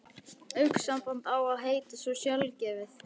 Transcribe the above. Augnsamband á að heita svo sjálfgefið.